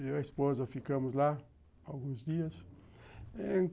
Eu e a esposa ficamos lá alguns dias.